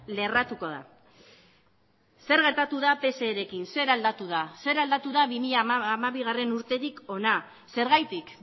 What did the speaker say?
lerratuko da zer gertatu da pserekin zer aldatu da zer aldatu da bi mila hamabigarrena urtetik hona zergatik